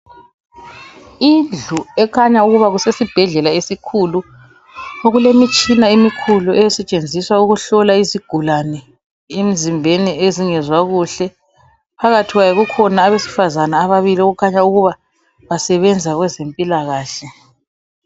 Indlu ekhanya ukuba kusesibhedlela esikhulu. Okulemitshina emikhulu esetshenziswa ukuhlola izigulane emizimbeni ezingezwa kuhle. Phakathi kwayo kukhona abasefazane ababili okukhanya ukuba basebenza kwezempilakahle.